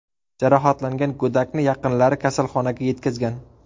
Jarohatlangan go‘dakni yaqinlari kasalxonaga yetkazgan.